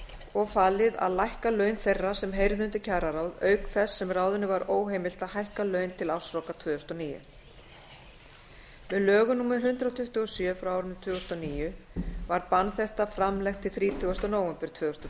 og falið að lækka laun þeirra sem heyrðu undir kjararáð auk þess sem ráðinu var óheimilt að hækka laun til ársloka tvö þúsund og níu með lögum númer hundrað tuttugu og sjö tvö þúsund og níu var bann þetta framlengt til þrítugasta nóvember tvö þúsund og